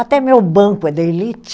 Até meu banco é da elite.